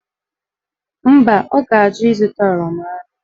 Mba, ọ ga-ajụ ịzụta oroma ahụ.